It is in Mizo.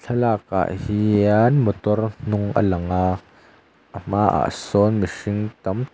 thlalak ah hian motor hnung a lang a a hmaah sawn mihring tam tak--